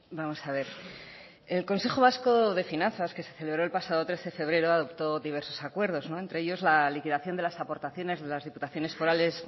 vamos a ver el consejo vasco de finanzas que se celebró el pasado trece de febrero adoptó diversos acuerdos entre ellos la liquidación de las aportaciones de las diputaciones forales